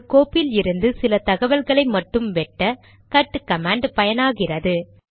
ஒரு கோப்பிலிருந்து சில தகவல்களை மட்டும் வெட்ட கட் கமாண்ட் பயனாகிறது